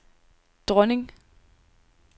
dronning